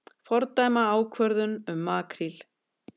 Fordæma ákvörðun um makríl